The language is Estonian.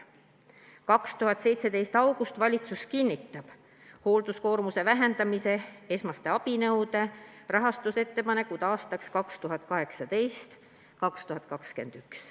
2017 august – valitsus kinnitab hoolduskoormuse vähendamise esmaste abinõude rahastuse ettepanekud aastateks 2018–2021.